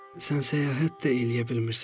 Sən səyahət də eləyə bilmirsən.